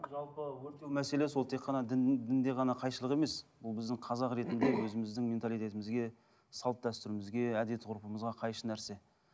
жалпы өртеу мәселесі ол тек қана дінде ғана қайшылық емес ол біздің қазақ ретінді өзіміздің менталитетімізге салт дәстүрімізге әдет ғұрпымызға қайшы нәрсе